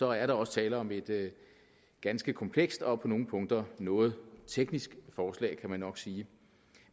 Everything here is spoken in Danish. er der også tale om et ganske komplekst og på nogle punkter noget teknisk forslag kan man nok sige